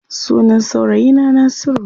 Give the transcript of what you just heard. Sunan saurayi na Nasiru.